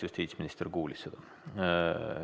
Justiitsminister kuulis seda.